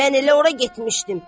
Mən elə ora getmişdim.